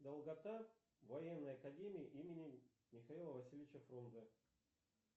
долгота военной академии имени михаила васильевича фрунзе